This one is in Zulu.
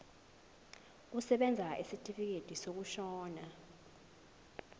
kusebenza isitifikedi sokushona